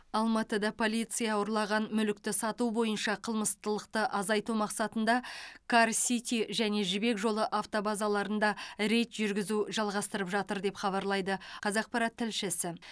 алматыда полиция ұрланған мүлікті сату бойынша қылмыстылықты азайту мақсатында кар сити және жібек жолы автобазарларында рейд жүргізуді жалғастырып жатыр деп хабарлайды қазақпарат тілшісі